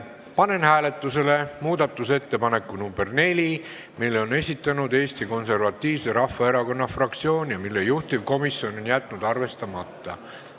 Panen hääletusele muudatusettepaneku nr 4, mille on esitanud Eesti Konservatiivse Rahvaerakonna fraktsioon ja mille juhtivkomisjon on jätnud arvestamata.